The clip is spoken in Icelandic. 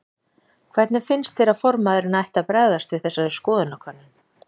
Hvernig finnst þér að formaðurinn ætti að bregðast við þessari skoðanakönnun?